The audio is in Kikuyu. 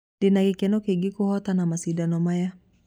Ndĩna gĩkeno kĩingĩ kũhotana macĩdano maya"